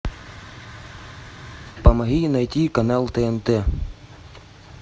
помоги найти канал тнт